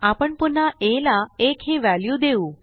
आपण पुन्हा आ ला 1 ही व्हॅल्यू देऊ